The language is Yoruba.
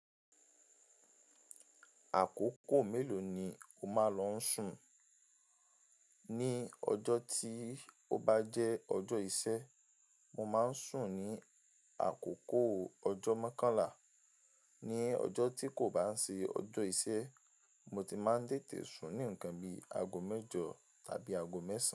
Àkókò mélòó ni o máa ń lọ sùn? Ni ọjọ́ tí o bá jẹ́ ọjọ́ iṣẹ́, mo máa ń sùn ní àkókò ọjọ́ mokànlá. Ni ọjọ́ tí kò bá ń ṣe ọjọ́ iṣẹ́, mo ti máa ń tètè sùn ní ǹkan bi ago mẹ́jọ tàbí ago mẹ́sàn.